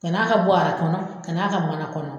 Kan'a ka bɔɔra kɔnɔ kaan'a ka mana kɔnɔ.